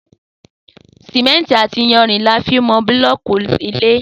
Sìmẹ́ǹtì àti iyanrìn ni a fi ń mọ búlọ́ọ̀kì ilé